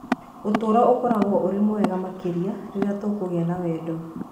Ũtũũro ũkoragwo ũrĩ mwega makĩria rĩrĩa tũkũgĩa na wendo.